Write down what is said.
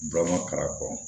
karamɔgɔ